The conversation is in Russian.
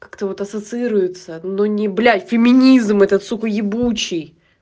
как-то вот ассоциируется но не блять феминизм этот сука ебучий